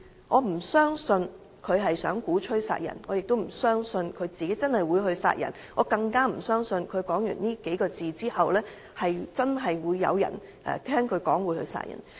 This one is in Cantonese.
我不相信他想鼓吹殺人，也不相信他真的會殺人，更不相信他說完這數個字後，會有人真的聽他的話去殺人。